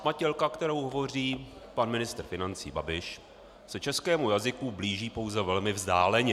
Hatmatilka, kterou hovoří pan ministr financí Babiš, se českému jazyku blíží pouze velmi vzdáleně.